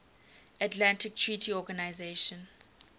atlantic treaty organisation